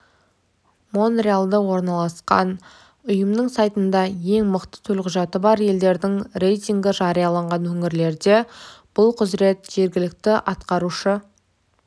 монреалда орналасқан ұйымының сайтында ең мықты төлқұжаты бар елдердің рейтингі жарияланған өңірлерде бұл құзырет жергілікті атқарушы